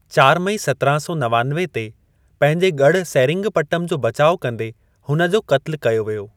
चार मई सत्राहं सौ नवानवे ते पंहिंजे गढ़ु सेरिंगपट्टम जो बचाउ कंदे हुन जो क़त्लु कयो वियो।